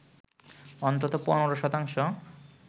অন্তত ১৫ শতাংশ